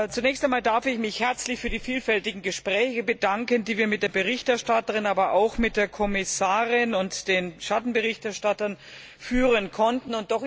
Zunächst einmal darf ich mich herzlich für die vielfältigen Gespräche bedanken, die wir mit der Berichterstatterin, aber auch mit der Kommissarin und den Schattenberichterstattern führen konnten